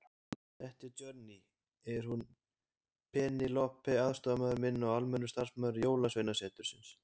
Þetta Johnny, er hún Penélope aðstoðarmaður minn og almennur starfsmaður Jólasveinasetursins.